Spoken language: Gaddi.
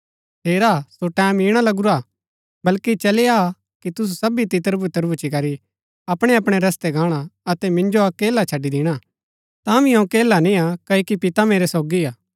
हेरा सो टैमं ईणा लगूरा बल्कि चली आ कि तुसु सबी तितरबितर भूच्ची करी अपणैअपणै रस्तै गाणा अतै मिन्जो अकेला छड़ी दिणा तांभी अऊँ अकेला निया क्ओकि पिता मेरै सोगी हा